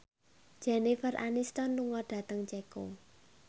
Jennifer Aniston lunga dhateng Ceko